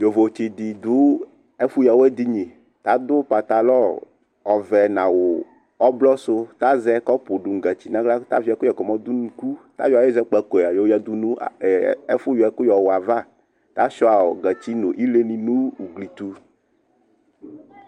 Ƴovo tsɩ ɖɩ ɖʋ ɛƒʋ ƴǝwɛdini; ta ɖʋ patalɔ ɔvɛ nʋ awʋ ɔblɔ sʋTa zɛ ƙɔpʋ ɖʋ nʋ gatsi n' aɣla, ta vɩ ɛƙʋƴɛ ƙɔ mɔ ɖʋ nʋ unuƙuTa ƴɔ aƴʋ ɛzɛƙpaƙoe ƴɔƴǝ ɖʋ nʋ ɛƒʋ ƴɔɛƙʋwʋɛ avaTa sʋɩa gatsi nʋ ile nʋ ugli tʋ